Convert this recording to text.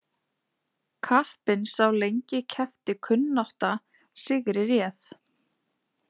Kappinn sá lengi keppti kunnátta sigri réð.